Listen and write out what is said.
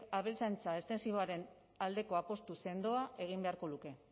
abeltzaintza estentsiboaren aldeko apustu sendoa egin beharko luke